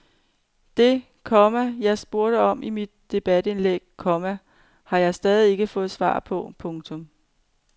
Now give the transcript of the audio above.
Det, komma jeg spurgte om i mit debatindlæg, komma har jeg stadig ikke fået svar på. punktum